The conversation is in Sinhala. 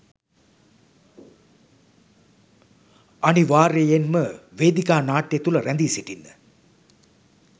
අනිවාර්යයෙන්ම! වේදිකා නාට්‍ය තුළ රැඳී සිටින්න